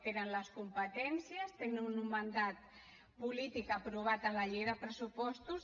tenen les competències tenen un mandat polític aprovat en la llei de pressupostos